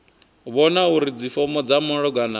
vhona uri dzifomo dza malugana